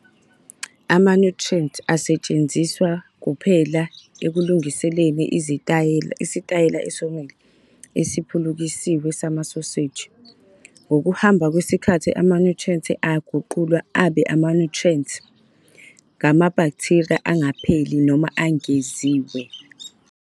Ama-nitrate asetshenziswa kuphela ekulungiseleleni isitayela esomile esiphulukisiwe samasoseji. Ngokuhamba kwesikhathi ama-nitrate aguqulwa abe ama-nitrites ngamabhaktheriya angapheli noma angeziwe.